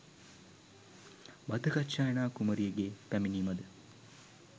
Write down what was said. භද්දකච්චායනා කුමරියගේ පැමිණීමද